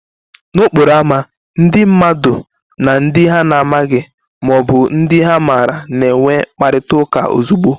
N'okporo ámá, ndị mmadụ na ndị ha na-amabughị ma ọ bụ ndị ha maara na-enwe mkparịta ụka ozugbo.